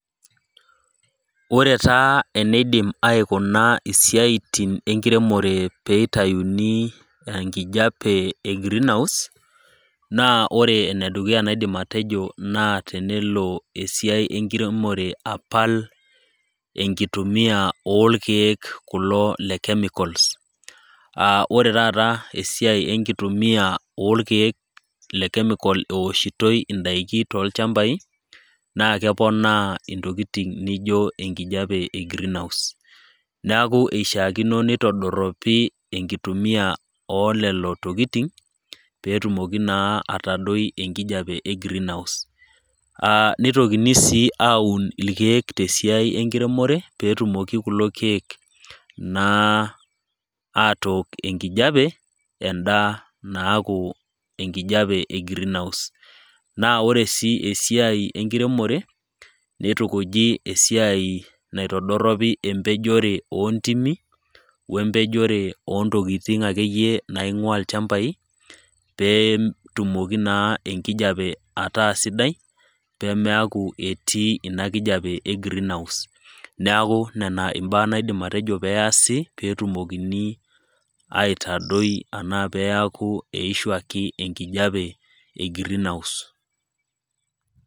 Ore taa eneidim aikuna isiaitin enkiremore pee eitayuni enkijape e green house, naa ore ene dukuya naidim atejo naa tenelo esiai enkiremore apal enkitumiya oo ilkeek kulo le cheicals aa ore taata enkitumiya oo ilkeek le chemical eoshitoi too ilchambai naa keponaa intolitin anijo enkijape e greenhouse. Neaku eishaakino neitodoropi enkitumiya oo lelo tokitin pee etumoki naa atadoi enkijape e greenhouse, neitokini sii aun ilkeek te siai e enkiremore pee etumoki kulo keek naa atook enkijape enda naaku enkijape e greenhouse. Naa ore sii esiai enkiremore neitukuji esiai naitodoropi esiai empejore oo intimi we empejore ake iyie oo ntokitin naing'ua ilchambai pee etumoki naa enkijape ataa sidai pemeaku etii ina kijape e green house, neaku nena imbaa naidim atejo pee easi pee etumokini aitadoi anaa peaku eishuaki enkijape e greenhouse.